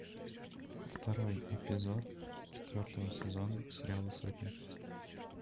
второй эпизод четвертого сезона сериала сотня